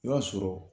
I b'a sɔrɔ